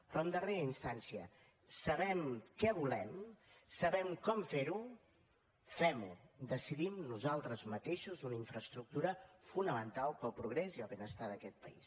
però en darrera instància sabem què volem sabem com fer ho fem ho decidim nosaltres mateixos una infraestructura fonamental pel progrés i el benestar d’aquest país